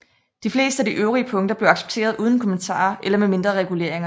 De fleste af de øvrige punkter blev accepteret uden kommentarer eller med mindre reguleringer